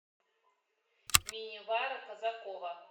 минивара казакова